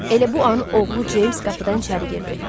Elə bu an oğlu Cems qapıdan içəri girdi.